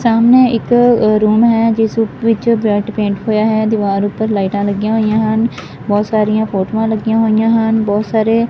ਸਾਹਮਣੇ ਇੱਕ ਰੂਮ ਹੈ ਜਿਸ ਵਿੱਚ ਰੈਡ ਪੇਂਟ ਹੋਇਆ ਹੈ ਦੀਵਾਰ ਉੱਪਰ ਲਾਈਟਾਂ ਲੱਗੀਆਂ ਹੋਈਆਂ ਹਨ ਬਹੁਤ ਸਾਰੀਆਂ ਫੋਟੋਆਂ ਲੱਗੀਆਂ ਹੋਈਆਂ ਹਨ ਬਹੁਤ ਸਾਰੇ--